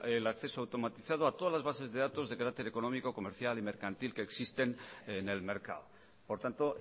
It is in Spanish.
el acceso automatizado a todas las bases de datos de carácter económico comercial y mercantil que existen en el mercado por tanto